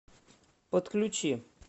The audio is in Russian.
подключи